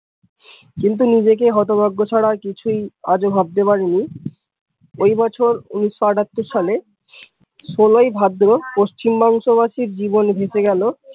কিন্তু নিজেকে হতভাগ্য ছাড়া কিছুই আজও ভাবতে পারিনি, ওই বছর উনিশ আটাত্তর সালে ষোলই ভাদ্র পশ্চিমবাঙ্গ বাসীর জীবন ভেসে গেল।